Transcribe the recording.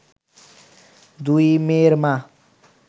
দুই মেয়ের মা